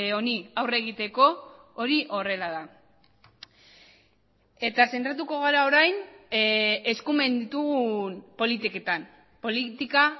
honi aurre egiteko hori horrela da eta zentratuko gara orain eskumen ditugun politiketan politika